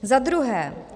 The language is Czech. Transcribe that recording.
Za druhé.